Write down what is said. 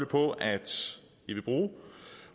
på at de vil bruge